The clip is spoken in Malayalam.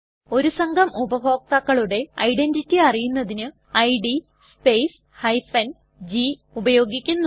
ഒരു സംഘം ഉപഭോക്താക്കളുടെ ഐഡന്റിറ്റി അറിയുന്നതിന് ഇഡ് സ്പേസ് g ഉപയോഗിക്കുന്നു